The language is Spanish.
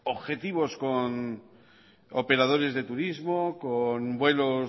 objetivos con operadores de turismo con vuelos